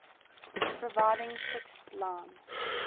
providing fixed line